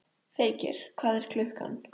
Feykir, hvað er klukkan?